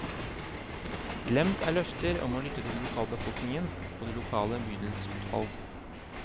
Glemt er løfter om å lytte til lokalbefolkningen og det lokale bydelsutvalg.